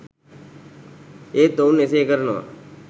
ඒත් ඔවුන් එසේ කරනවා.